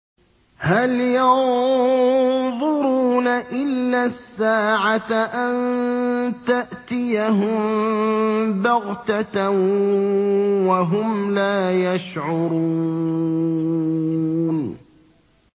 هَلْ يَنظُرُونَ إِلَّا السَّاعَةَ أَن تَأْتِيَهُم بَغْتَةً وَهُمْ لَا يَشْعُرُونَ